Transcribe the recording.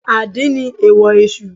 Àdín ni èèwò Èsù